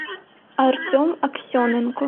артем аксененко